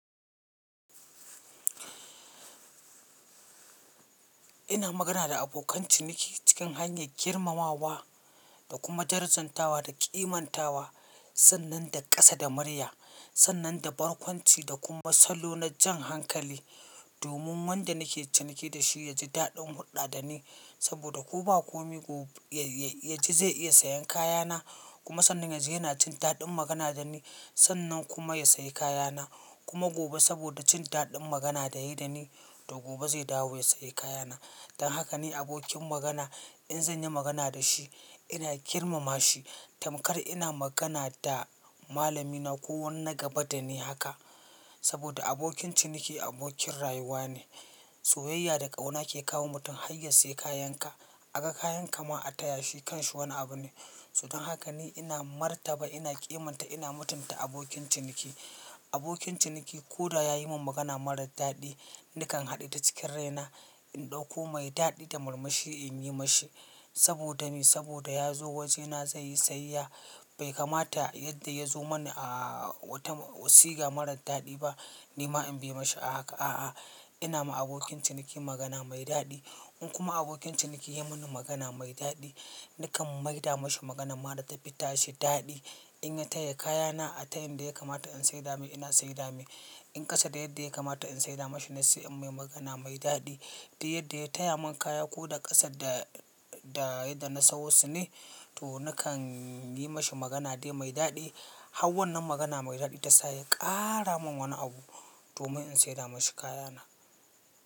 Ina magana da abokan ciniki cikin hanyar girmamawa da kuma darajantawa da ƙimantawa sannan da ƙasa da murya, sannan da barkwanci da kuma salo na jan hankali domin wanda nake ciniki da shi ya ji daɗin hulɗa da ni. Saboda ko ba komi go ya ji zai iya sayen kayana kuma sannan yanzu yana cin daɗin magana da ni sannan kuma ya sayi kayana. Kuma gobe saboda cin daɗin magana da yayi da ni to gobe zai dawo ya sayi kayana. Dan haka ne abokin magana in zan yi magana da shi ina girmama shi tamkar ina magana da malamina ko wani gaba da ni haka. Saboda abokin ciniki abokin rayuwa ne. Soyayya da ƙauna ke kawo mutum har ya sayi kayan ka. A ga kayan ka ma a taya shi kanshi wani abu ne. So dan haka ne ina martaba, ina ƙimanta, ina mutunta abokin ciniki. Abokin ciniki ko da ya yi min magana marar daɗi nakan haɗe ta cikin rai na in ɗauko mai daɗi ta murmushi in yi mashi. Saboda me? Saboda ya zo wajena zai yi sayayya bai kamata yadda ya zo mani a wata siga marar daɗi ba. Ni ma in biya mashi a haka. A'a, ina ma abokin ciniki magana mai daɗi. In kuma abokin ciniki ya yi mini magana mai daɗi nakan maida mashi magana mara ta fi tashi daɗi. In ya taya kayana a tayan da ya kamata in saida mai ina saida mai. In ƙasa da yadda ya kamata in saida mashi na sayi mai magana mai daɗi. Da yadda ya taya mun kaya ko da ƙasa da, da yadda na so su ne to nakan yi mashi magana dai mai daɗi. Hau wan nan magana mai daɗi ta sa ya ƙara mun wani abu domin in saida mashi kayana.